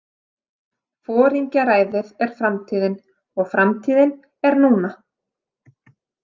Foringjaræðið er framtíðin og framtíðin er núna!